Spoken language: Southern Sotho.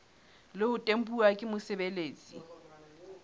le ho tempuwa ke mosebeletsi